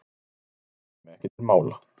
Það kæmi ekki til mála.